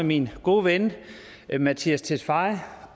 min gode ven mattias tesfaye